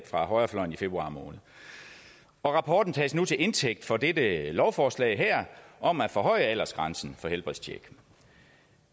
fra højrefløjen i februar måned rapporten tages nu til indtægt for dette lovforslag om at forhøje aldersgrænsen for helbredstjek